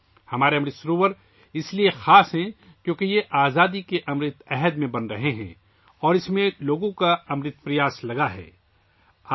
ہمارا امرت سروور اس لیے خاص ہے کہ اسے آزادی کے امرت دور میں بنایا جا رہا ہے اور اس میں لوگوں کی امرت کاوشیں ڈالی گئی ہیں